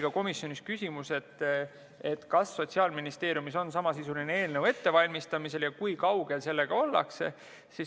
Ka komisjonis oli küsimus, et kas Sotsiaalministeeriumis on samasisuline eelnõu ettevalmistamisel ja kui kaugel sellega ollakse.